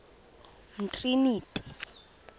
umtriniti